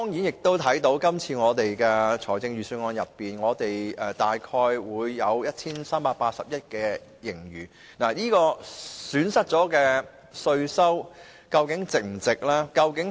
相對今年財政預算案提及香港大約 1,380 億元盈餘，這損失了的稅收是否值得？